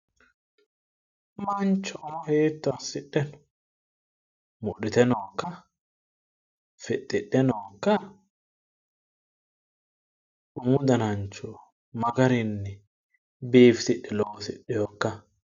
Mancho hiitto assite wodhite nookka? Fixxidhe nookka? Umu danancho magarinni biifisidhe loosidhewookka?